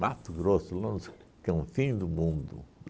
Mato Grosso longe que é o fim do mundo.